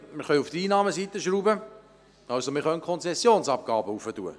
Wir können an der Einnahmeseite herumschrauben, was bedeutet, die Konzessionsabgaben zu erhöhen.